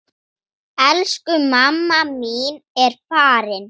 Elsku mamma mín er farin.